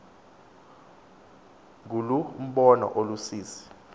nguloo mbono ulusizi